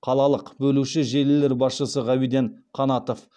қалалық бөлуші желілер басшысы ғабиден қанатов